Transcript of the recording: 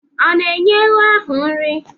Ọ na-enye ewu ahụ nri?